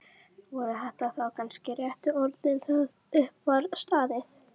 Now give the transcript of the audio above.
Voru þetta þá kannski réttu orðin þegar upp var staðið?